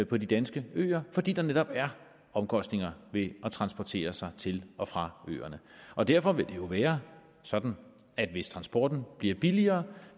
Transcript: på de danske øer fordi der netop er omkostninger ved at transportere sig til og fra øerne og derfor vil det jo være sådan at hvis transporten bliver billigere